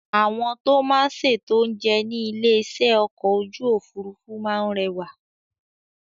Àwọn tó máa ń ṣètò oúnjẹ ní ilé-iṣẹ́ ọkọ̀ ojú òfuurufú máa ń rẹwà.